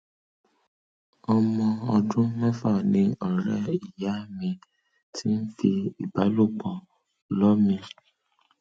ọmọ ọdún mẹfà ni ọrẹ ìyá mi ti ń fi ìbálòpọ lọ mí